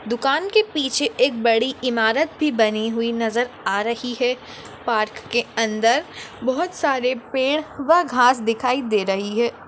दुकान के पीछे एक बड़ी इमारत भी बनी हुई नजर आ रही है पार्क के अंदर बहुत सारे पेड़ व घास दिखाई दे रही है।